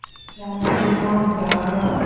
я мусульман я араб